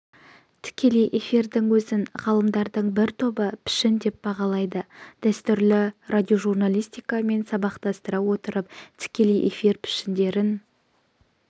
тікелей эфирдің өзін ғалымдардың бір тобы пішін деп бағалайды дәстүрлі радиожурналистикамен сабақтастыра отырып тікелей эфир пішіндерін